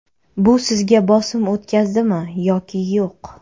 Bu sizga bosim o‘tkazadimi yoki yo‘q?